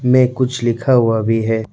मे कुछ लिखा हुआ भी है।